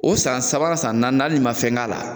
O san sabanan san naaninan hali n'i ma fɛn k'a la